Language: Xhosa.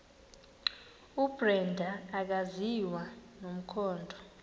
ubrenda akaziwa nomkhondo